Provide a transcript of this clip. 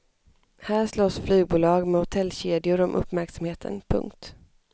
Här slåss flygbolag med hotellkedjor om uppmärksamheten. punkt